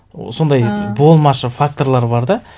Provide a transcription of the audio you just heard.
сондай болмашы факторлар бар да